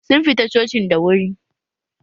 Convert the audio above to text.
Sun fita cocin da wuri